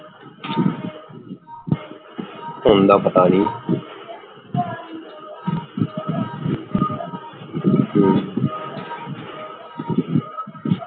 ਹੁਣ ਦਾ ਪਤਾ ਨਹੀਂ